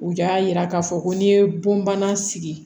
U y'a yira k'a fɔ ko n'i ye bonbana sigi